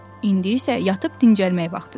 İndi isə yatıb dincəlmək vaxtıdır.